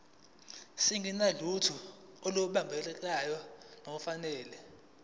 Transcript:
singenalutho olubambekayo nolufanele